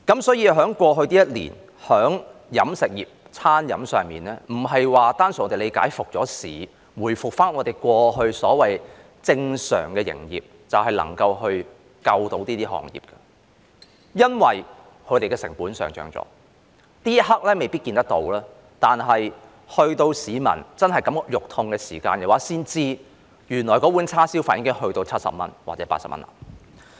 所以，對於過去一年飲食業的處境，不能單純地理解，餐飲復市、回復我們過去所謂正常的營業，便能拯救這行業，因為他們的成本已上漲；這一刻未必可看到，但直到市民真的肉痛時，才知道原來一碗叉燒飯已漲價至70元或80元。